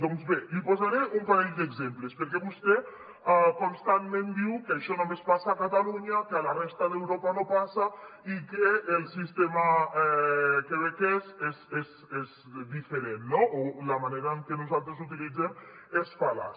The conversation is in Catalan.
doncs bé li posaré un parell d’exemples perquè vostè constantment diu que això només passa a catalunya que a la resta d’europa no passa i que el sistema quebequès és diferent no o la manera en què nosaltres l’utilitzem és fal·laç